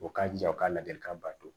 U k'a jija u ka laadilikan bato